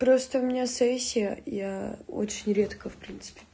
просто у меня сессия я очень редко в принципе